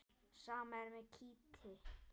Sama er með kítti.